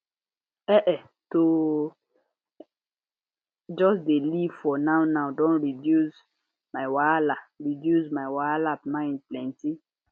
ehn[um]to just dey live for nownow don reduce my wahala reduce my wahala mind plenty